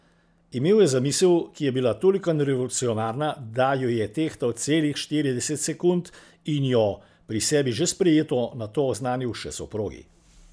Imel je zamisel, ki je bila tolikanj revolucionarna, da jo je tehtal celih štirideset sekund in jo, pri sebi že sprejeto, nato oznanil še soprogi.